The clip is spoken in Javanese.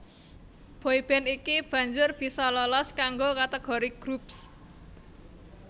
Boy band iki banjur bisa lolos kanggo kategori Groups